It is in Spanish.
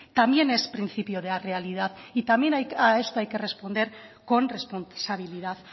también es principio de realidad también a esto hay que responder con responsabilidad